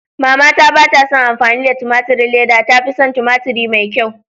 Mama ta batason amfani da a tumaturin leda, ta fison tumaturi mai kyau.